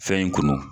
Fɛn in kunu